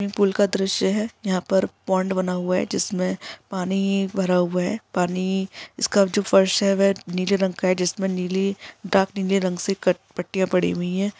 Swimming pool का दृश्य है यहाँ पर पौंड बना हुआ है जिसमें पानी भरा हुआ है पानी इसका जो फर्श है वह नीले रंग का है जिसमे नीली डार्क नीली रंग से कट पट्टियाँ पढ़ी हुई है।